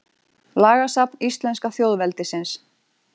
Lagasafn íslenska þjóðveldisins.